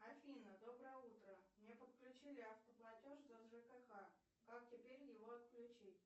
афина доброе утро мне подключили автоплатеж за жкх как теперь его отключить